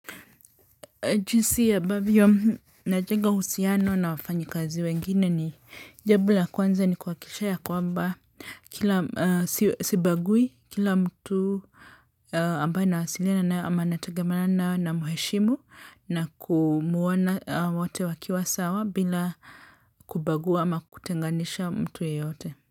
Jinsi ambavyo najenga uhusiano na wafanyikazi wengine ni, jambo la kwanza ni kuhakikisha ya kwamba sibagui kila mtu ambaye nawasiliana naye ama natangamana nao namheshimu na kumuona wote wakiwa sawa bila kubagua ama kutenganisha mtu yeyote.